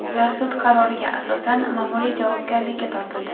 Ular sud qaroriga asosan ma’muriy javobgarlikka tortildi.